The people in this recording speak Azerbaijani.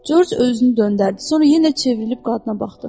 Corc özünü döndərdi, sonra yenə çevrilib qadına baxdı.